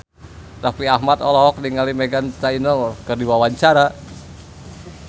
Raffi Ahmad olohok ningali Meghan Trainor keur diwawancara